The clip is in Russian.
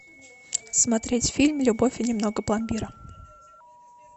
смотреть фильм любовь и немного пломбира